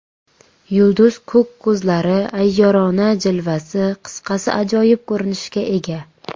Yulduz ko‘k ko‘zlari, ayyorona jilvasi, qisqasi ajoyib ko‘rinishga ega.